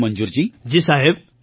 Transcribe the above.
મંજૂરજી જી સાહેબ